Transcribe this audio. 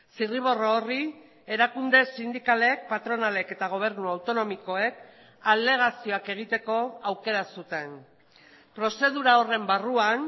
zirriborro horri erakunde sindikalek patronalek eta gobernu autonomikoek alegazioak egiteko aukera zuten prozedura horren barruan